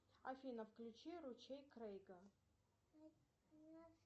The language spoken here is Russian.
афина включи ручей крейга